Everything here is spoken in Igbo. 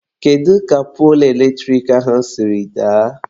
Kedu ka poolu eletrik ahụ siri daa?.